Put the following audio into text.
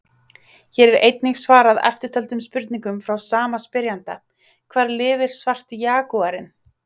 Hér er einnig svarað eftirtöldum spurningum frá sama spyrjanda: Hvar lifir svarti jagúarinn?